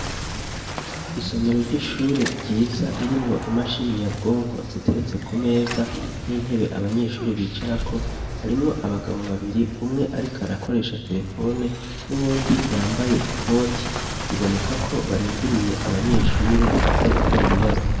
Isomero ry'ishure ryiza ririmwo imashini nyabwonko ziteretse ku meza, n'intebe abanyeshuri bicarako, harimwo abagabo babiri umwe ariko arakoresha terefone n'uwundi yambaye ikoti. Biboneka ko barindiriye abanyeshure baza gukora ibibazo.